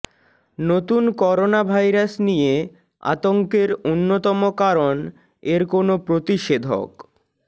নতুন coronavirus নিয়ে আতঙ্কের অন্যতম কারণ এর কোনো প্রতিষেধক